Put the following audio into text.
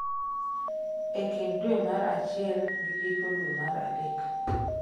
e kind dwe mar achiel gi giko dwe mar adek